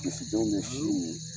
Misi denw bɛ sin min